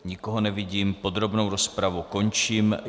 Nikoho nevidím, podrobnou rozpravu končím.